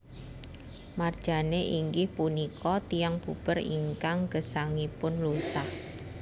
Marjane inggih punika tiyang puber ingkang gesangipun lusah